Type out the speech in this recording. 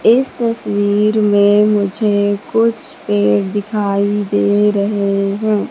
इस तस्वीर में मुझे कुछ पेड़ दिखाई दे रहे हैं।